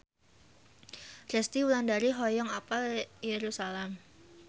Resty Wulandari hoyong apal Yerusalam